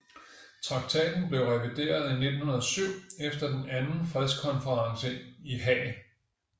Traktaten blev revideret i 1907 efter den anden fredskonferencen i Haag